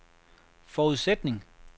forudsætning